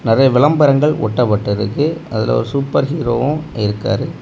நிறைய விளம்பரங்கள் ஒட்டப்பட்டிருக்கு அதுல ஒரு சூப்பர் ஹீரோவு இருக்காரு.